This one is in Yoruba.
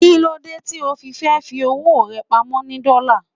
Kíló dé tí o fi fẹ́ fi owó rẹ pamọ́ ni Dọ́là?